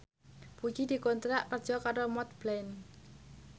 Puji dikontrak kerja karo Montblanc